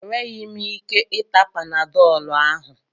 Enweghị m ike ịta panadọlụ ahụ.